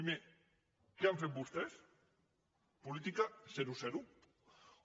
primer què han fet vostès política zerozero